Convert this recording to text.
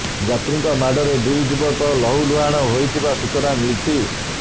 ଯାତ୍ରୀଙ୍କ ମାଡରେ ଦୁଇ ଯୁବକ ଲହୁ ଲୁହାଣ ହୋଇଥିବା ସୂଚନା ମିଳିଛି